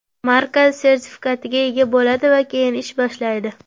Markaz sertifikatiga ega bo‘ladi va keyin ish boshlaydi.